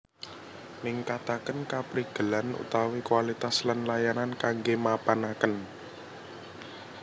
Ningkataken kaprigelan utawi kualitas lan layanan kangge mapanaken